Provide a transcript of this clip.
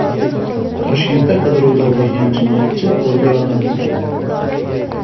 Toshkentda qidiruvda bo‘lgan jinoyatchi qo‘lga olindi.